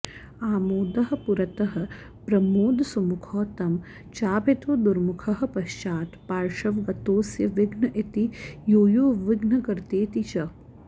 आमोदः पुरतः प्रमोदसुमुखौ तं चाभितो दुर्मुखः पश्चात् पार्श्वगतोऽस्य विघ्न इति यो यो विघ्नकर्तेति च